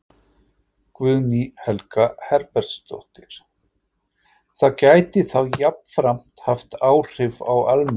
Guðný Helga Herbertsdóttir: Það gæti þá jafnframt haft áhrif á almenning?